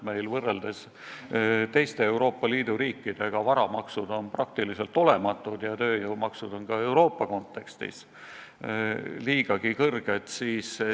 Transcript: Meil on võrreldes teiste Euroopa Liidu riikidega varamaksud enam-vähem olematud ja tööjõumaksud on Euroopa kontekstis liiga kõrged.